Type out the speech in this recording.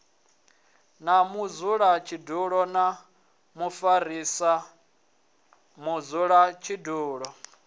na mudzulatshidulo na mufarisa mudzulatshidulo